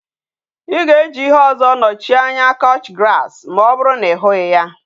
I ga eji ihe ozo nochie anya couch grass ma oburu na I hughi ya?